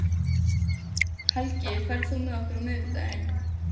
Helgi, ferð þú með okkur á miðvikudaginn?